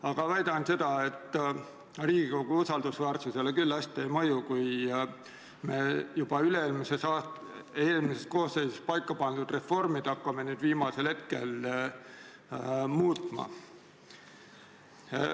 Aga ma väidan seda, et Riigikogu usaldusväärsusele küll hästi ei mõju, kui me juba üle-eelmises koosseisus paika pandud reformi hakkame nüüd viimasel hetkel muutma.